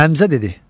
Həmzə dedi: